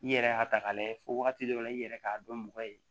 I yɛrɛ y'a ta k'a lajɛ fɔ wagati dɔ la i yɛrɛ k'a dɔn mɔgɔ ye